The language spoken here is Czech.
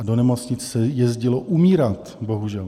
A do nemocnice se jezdilo umírat, bohužel.